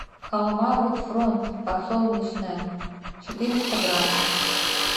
халва рот фронт подсолнечная четыреста грамм